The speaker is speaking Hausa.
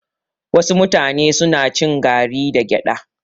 Wasu mutane suna cin gari da gyada